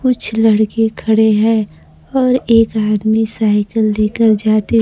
कुछ लड़के खड़े है और एक आदमी साइकिल लेकर जाते--